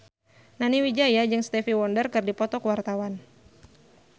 Nani Wijaya jeung Stevie Wonder keur dipoto ku wartawan